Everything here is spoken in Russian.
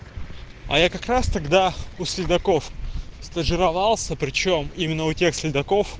а я как раз тогда у следаков стажировался причём именно у тех следаков